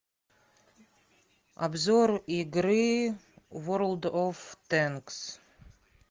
обзор игры ворлд оф тэнкс